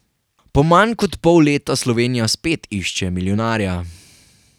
Po manj kot pol leta Slovenija spet išče milijonarja.